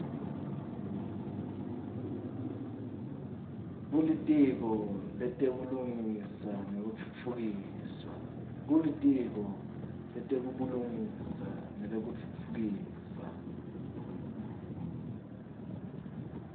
kulitiko letebulungisa nekutfutfukiswa